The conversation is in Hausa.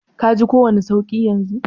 ka ki kowani sauki yanzun?